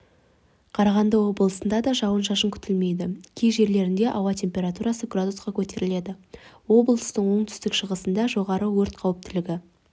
қарағанды облысында да жауын-шашын күтілмейді кей жерлерінде ауа температурасы градусқа көтеріледі облыстың оңтүстік-шығысында жоғары өрт қауіптілігі